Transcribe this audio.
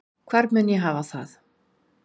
Hvar mun ég hafa það?